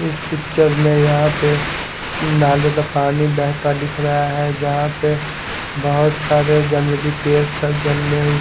इस पिक्चर में यहां पे नाले का पानी बहता दिख रहा है यहां पे बहुत सारे जंगली पेड़ सब